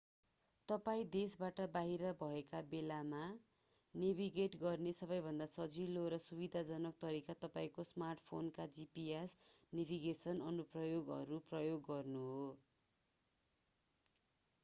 तपाईं देशबाट बाहिर भएका बेला नेभिगेट गर्ने सबैभन्दा सजिलो र सुविधाजनक तरिका तपाईंको स्मार्टफोनका gps नेभिगेसन अनुप्रयोगहरू प्रयोग गर्नु हो